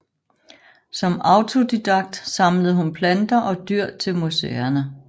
Som autodidakt samlede hun planter og dyr til museerne